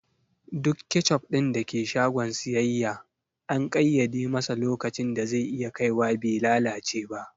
Duk kecup ɗin da ke shagon siyayya an ƙaiyade masa lokacin da ze iya kaiwa be lalace ba